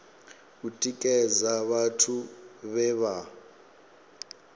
u tikedza vhathu vhe vha